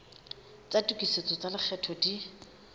tsa tokisetso tsa lekgetho di